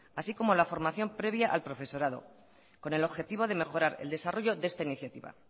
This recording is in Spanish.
así como la formación previa al profesorado con el objetivo de mejorar el desarrollo de esta iniciativa